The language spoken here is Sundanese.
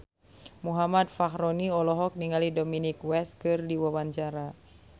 Muhammad Fachroni olohok ningali Dominic West keur diwawancara